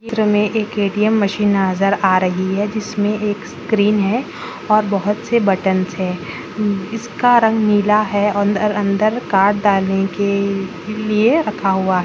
चित्र में एक ए.टी.एम. मशीन नजर आ रही है जिसमें एक स्क्रिन है और बहुत से बटन्स है इसका रंग नीला है और अंदर-अंदर कार्ड डालने के लिए रखा हुआ है।